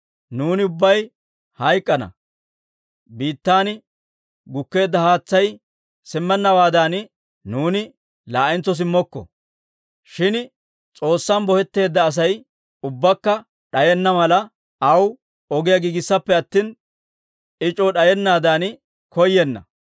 Nuuni ubbay hayk'k'ana; biittan gukkeedda haatsay simmennawaadan, nuuni laa'entso simmokko. Shin S'oossay bohetteedda Asay ubbakka d'ayenna mala, aw ogiyaa giigisseeppe attina, I c'oo d'ayanaadan koyyenna.